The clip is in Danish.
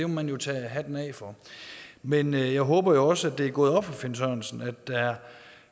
man jo tage hatten af for men jeg håber så også at det er gået op for herre finn sørensen at der